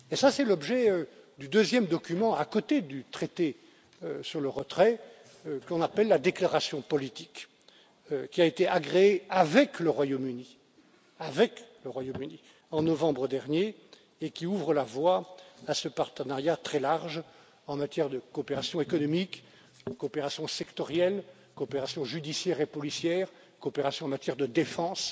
C'est l'objet du deuxième document à côté du traité sur le retrait, qu'on appelle la déclaration politique, qui a été agréé avec le Royaume Uni en novembre dernier et qui ouvre la voie à ce partenariat très large en matière de coopération économique, coopération sectorielle, coopération judiciaire et policière, coopération en matière de défense,